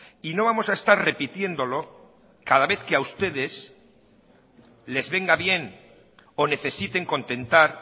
y no vamos a estar repitiéndolo cada vez que a ustedes les venga bien o necesiten contentar